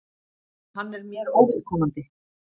Hann er mér óviðkomandi.